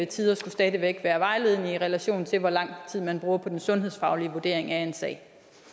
tider skulle stadig væk være vejledende i relation til hvor lang tid man bruger på den sundhedsfaglige vurdering af en sag